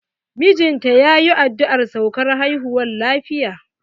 Mijinta yayi addu'ar saukar haihuwa lafiya.